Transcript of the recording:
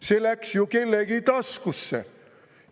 See läks kellegi taskusse!